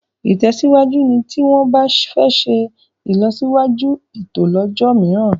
ìtèsíwájú ní tí wón bá fè ṣe ilọsiwaju ẹtọ lójó míràn